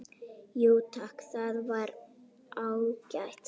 Jú takk, það var ágætt